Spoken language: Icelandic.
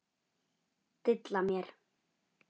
Dilla mér.